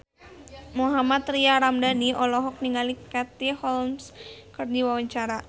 Mohammad Tria Ramadhani olohok ningali Katie Holmes keur diwawancara